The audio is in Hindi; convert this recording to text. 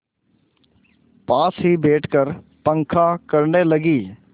पास ही बैठकर पंखा करने लगी